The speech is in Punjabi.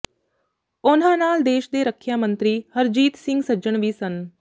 ਉਨ੍ਹਾਂ ਨਾਲ ਦੇਸ਼ ਦੇ ਰੱਖਿਆ ਮੰਤਰੀ ਹਰਜੀਤ ਸਿੰਘ ਸੱਜਣ ਵੀ ਸਨ